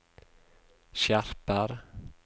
skjerper